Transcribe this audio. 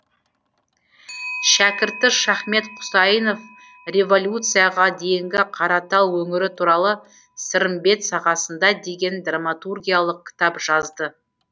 шәкірті шахмет құсайынов революцияға дейінгі қаратал өңірі туралы сырымбет сағасында деген драматургиялық кітап жазды